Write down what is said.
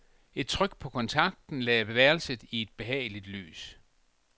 Et tryk på kontakten lagde værelset i et behageligt lys.